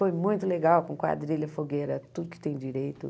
Foi muito legal, com quadrilha, fogueira, tudo que tem direito.